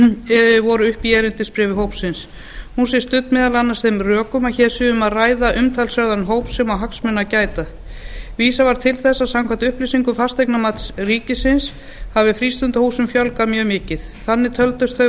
talin voru upp í erindisbréfi hópsins hún sé studd meðal annars þeim rökum að hér sé um að ræða umtalsverðan hóp sem eigi hagsmuna gæta vísað var til þess að samkvæmt upplýsingum fasteignamats ríkisins hafi frístundahúsum fjölgað mjög mikið þannig töldust þau